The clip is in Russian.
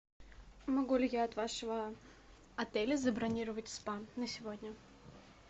могу ли я от вашего отеля забронировать спа на сегодня